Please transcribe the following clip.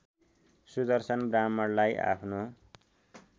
सुदर्शन ब्राह्मणलाई आफ्नो